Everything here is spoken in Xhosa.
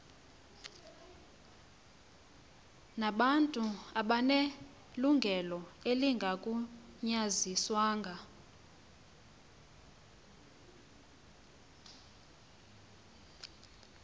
nabantu abanelungelo elingagunyaziswanga